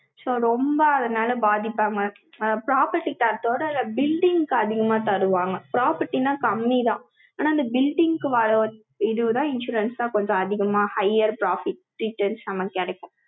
so, ரொம்ப அதனால பாதிப்பாங்க. property காரத்தோட building க்கு அதிகமா தருவாங்க. property ன்னா கம்மிதான். ஆனா, இந்த building க்கு இதுதான் insurance தான் கொஞ்சம் அதிகமா, higher profit, season கிடைக்கும்